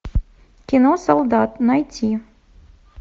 кино солдат найти